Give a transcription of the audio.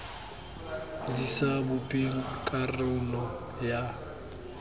di sa bopeng karolo ya